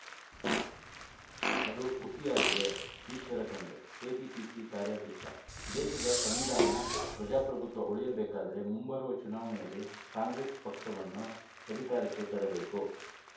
ಅದು ಹುಸಿಯಾಗಿದೆ ಈಶ್ವರ ಖಂಡ್ರೆ ಕೆಪಿಸಿಸಿ ಕಾರ್ಯಾಧ್ಯಕ್ಷ ದೇಶದ ಸಂವಿಧಾನ ಪ್ರಜಾಪ್ರಭುತ್ವ ಉಳಿಯಬೇಕಾದರೆ ಮುಂಬರುವ ಚುನಾವಣೆಯಲ್ಲಿ ಕಾಂಗ್ರೆಶ್ ಪಕ್ಷವನ್ನು ಅಧಿಕಾರಕ್ಕೆ ತರಬೇಕು